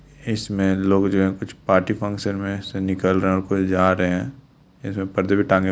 इसमें लोग जो हैं कुछ पार्टी फंक्शन में से निकल रहें हैं और कुछ जा रहें हैं। इधर परदे भी टांगे --